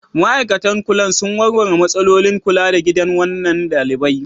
Ma'aikatan kula sun warware matsalolin kula da gidan kwanan ɗalibai?